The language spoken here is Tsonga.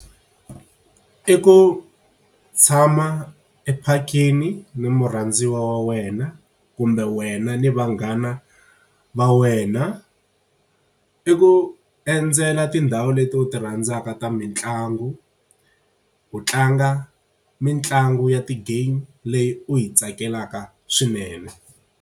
I ku tshama e phakeni ni murhandziwa wa wena, kumbe wena ni vanghana va wena. I ku endzela tindhawu leti u ti rhandzaka ta mitlangu ku tlanga mitlangu ya ti-game leyi u yi tsakelaka swinene.